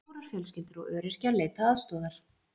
Stórar fjölskyldur og öryrkjar leita aðstoðar